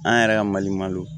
An yɛrɛ ka mali malo